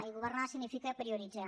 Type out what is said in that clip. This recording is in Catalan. i governar significa prioritzar